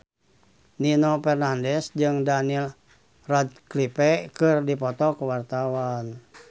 Nino Fernandez jeung Daniel Radcliffe keur dipoto ku wartawan